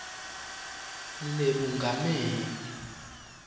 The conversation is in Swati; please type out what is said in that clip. lebungameli